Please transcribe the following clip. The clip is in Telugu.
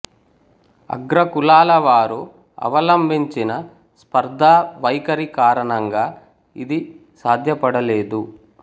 అగ్రకులాల వారు అవలంబించిన స్పర్థా వైఖరి కారణంగా ఇది సాధ్యపడలేదు